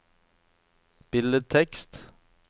billedtekst